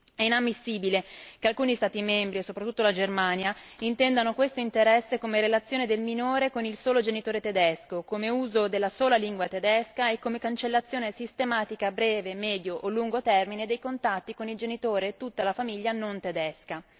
È inammissibile che alcuni Stati membri, e soprattutto la Germania, intendano questo interesse come relazione del minore con il solo genitore tedesco, come uso della sola lingua tedesca e come cancellazione sistematica a breve, medio o lungo termine dei contatti con il genitore e tutta la famiglia non tedesca.